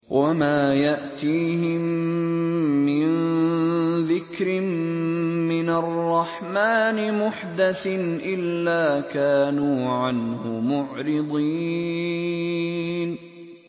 وَمَا يَأْتِيهِم مِّن ذِكْرٍ مِّنَ الرَّحْمَٰنِ مُحْدَثٍ إِلَّا كَانُوا عَنْهُ مُعْرِضِينَ